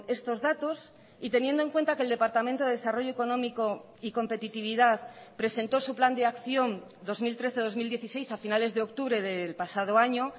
estos datos y teniendo en cuenta que el departamento de desarrollo económico y competitividad presentó su plan de acción dos mil trece dos mil dieciséis a finales de octubre del pasado año